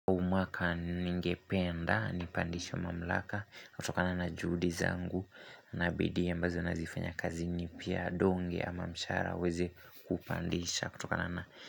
Huu mwaka ningependa, nipandishwe mamlaka, kutokana na juhudi zangu, na bidii ambazo nazifanya kazini pia donge ama mshahara uweze kupandisha kutokana na.